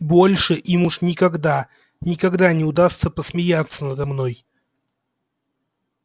больше им уж никогда никогда не удастся посмеяться надо мной